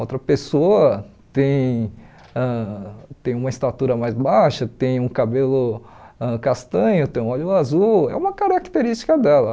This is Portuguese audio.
Outra pessoa tem ãh tem uma estatura mais baixa, tem um cabelo ãh castanho, tem um olho azul, é uma característica dela.